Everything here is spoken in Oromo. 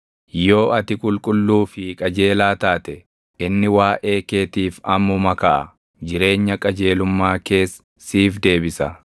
yoo ati qulqulluu fi qajeelaa taate, inni waaʼee keetiif ammuma kaʼa; jireenya qajeelummaa kees siif deebisa.